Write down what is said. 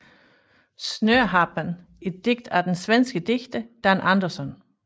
Snöharpan et digt af den svenske digter Dan Andersson